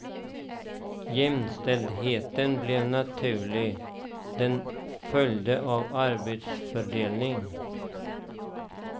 Jämställdheten blev naturlig, den följde av arbetsfördelningen.